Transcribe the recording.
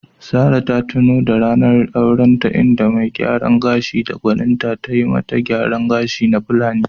Sarah ta tuno da ranar aurenta, inda mai gyaran gashi da gwaninta tayi ma ta gyaran gashi na Fulani.